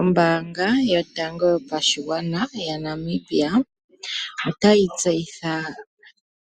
Ombaanga yotango yopashigwana yaNamibia otayi tseyitha